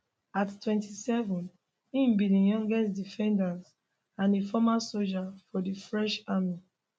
at 27 im be di youngest defendants and a former soldier for di french army